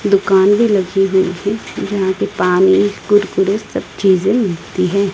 दुकान भी लगी हुई थी जहां पे पानी कुरकुरे सब चीजें मिलती है।